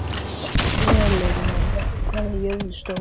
Elenóra, hvað er jörðin stór?